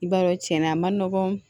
I b'a dɔn cɛnna a man nɔgɔn